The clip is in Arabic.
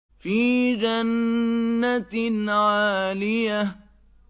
فِي جَنَّةٍ عَالِيَةٍ